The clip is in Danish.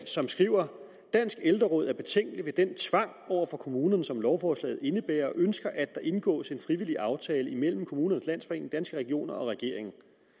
som skriver danske ældreråd er betænkelig ved den tvang over for kommunerne som lovforslaget indebærer og ønsker at der indgås en frivillig aftale mellem kommunernes landsforening danske regioner og regeringen